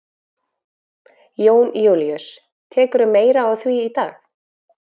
Jón Júlíus: Tekurðu meira á því í dag?